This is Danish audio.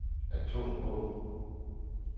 atomvåben